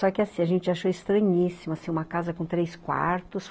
Só que assim, a gente achou estranhíssimo, assim, uma casa com três quartos.